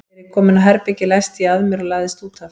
Þegar ég kom inn á herbergið læsti ég að mér og lagðist út af.